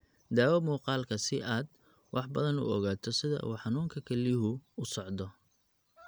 (Daawo muuqaalka si aad wax badan uga ogaato sida uu xanuunka kelyuhu u socdo.